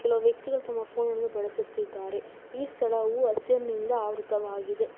ಒ ವ್ಯಕ್ತಿಗಳ ತುಂಬ ಫೋನನ್ನು ಬಳಸುತ್ತಿದ್ದಾರೆ ಈ ಸ್ಥಳವು ಹಸ್ಸೆನಿಂದ ಆವ್ರುತವಾಗಿದೆ.